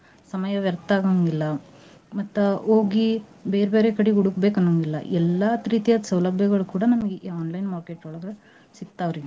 ಸಮಯ ವ್ಯರ್ತ ಆಗೋಂಗಿಲ್ಲ ಮತ್ತ ಹೋಗಿ ಬೇರ್ ಬೇರೆ ಕಡೆ ಹುಡ್ಕಬೇಕ್ ಅನಂಗಿಲ್ಲ ಎಲ್ಲಾತ್ ತ್ರೀತಿಯಾದ್ ಸೌಲಭ್ಯಗಳ ಕೂಡಾ ನಮ್ಗ ಈ online market ಒಳಗ ಸಿಗ್ತಾವ್ ರಿ.